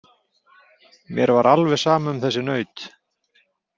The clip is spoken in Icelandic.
Mér var alveg sama um þessi naut.